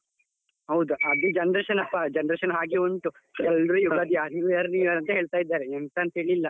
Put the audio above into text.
ಹೌದು ಅದೆ generation ಪ್ಪಾ generation ಹಾಗೆ ಉಂಟು, new year, new year ಅಂತ ಹೇಳ್ತಾ ಇದ್ದಾರೆ, ಎಂತ ಅಂತಿಲ್ಲ.